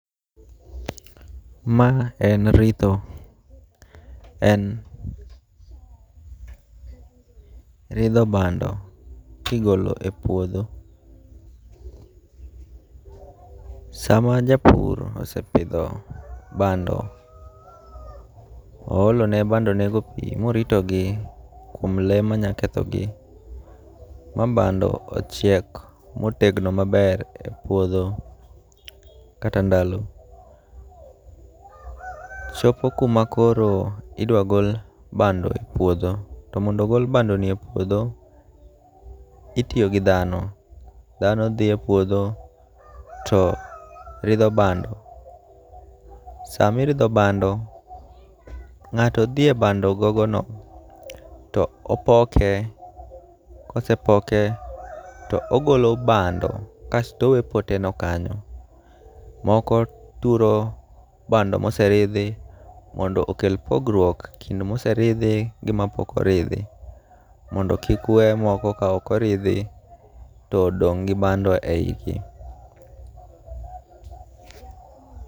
Ma en ritho. En ridho bando kigolo e puodho. Sama japur osepidho bando, oolone bando nego pi morito gi kuom lee manya ketho gi ma bando ochiek motegno maber e puodho, kata ndalo. Chopo kuma koro idwa gol bando e puodho. To mondo ogol bando ni e puodho, itiyo gi dhano. Dhano dhi e puodho to ridho bando. Sami ridho bando, ng'ato dhi e bando go gono to opoke. Kose poke to ogolo bando kasto owe pote no kanyo. Moko turo bando moseridhi mondo okel pogruok kind moseridhi gi mapok oridhi. Mondo kik we moko ka ok oridhi to odong' gi bando e yi gi.